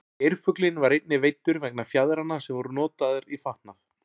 geirfuglinn var einnig veiddur vegna fjaðranna sem voru notaðar í fatnað